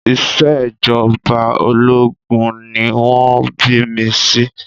Ìṣèjọba ológun ni wọ́n bí mi sí